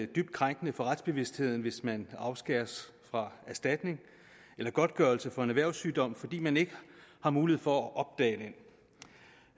dybt krænkende for retsbevidstheden hvis man afskæres fra erstatning eller godtgørelse for en erhvervssygdom fordi man ikke har mulighed for